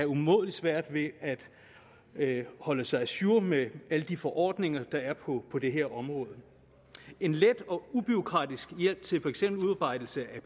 umådelig svært ved at holde sig ajour med alle de forordninger der er på på det her område en let og ubureaukratisk hjælp til for eksempel udarbejdelse